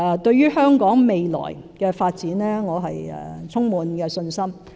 對於香港未來的發展，我充滿信心。